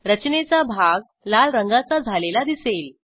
रचनेचा भाग लाल रंगाचा झालेला दिसेल